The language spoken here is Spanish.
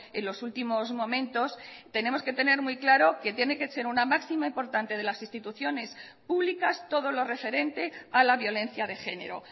en los últimos momentos tenemos que tener muy claro que tiene que ser una máxima importante de las instituciones públicas todo lo referente a la violencia de género